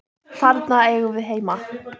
Þarna eigum við heima.